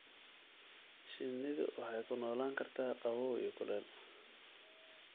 Shinnidu waxay ku noolaan kartaa qabow iyo kulel